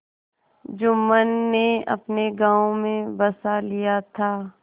जुम्मन ने अपने गाँव में बसा लिया था